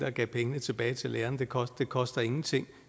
og gav pengene tilbage til lærerne det koster koster ingenting